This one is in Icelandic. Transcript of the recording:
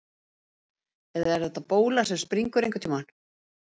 Eða er þetta bóla sem springur einhvern tíma?